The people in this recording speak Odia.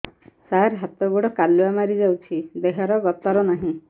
ସାର ହାତ ଗୋଡ଼ କାଲୁଆ ମାରି ଯାଉଛି ଦେହର ଗତର ନାହିଁ